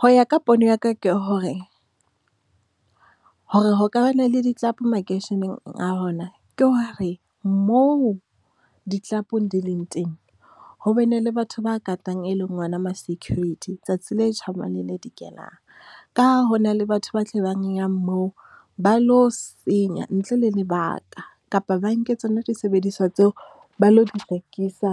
Ho ya ka pono ya ka ke hore, hore ho ka ba na le di-club makeisheneng a rona ke hore, moo di-club di leng teng, ho bane le batho ba katang, e leng ona ma-security tsatsi le tjhabang le le dikelang. Ka ha ho na le batho ba moo, ba lo senya ntle le lebaka kapa ba nke tsona disebediswa tseo, ba lo di rekisa